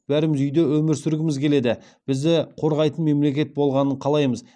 бәріміз үйде өмір сүргіміз келеді бізді қорғайтын мемлекет болғанын қалаймыз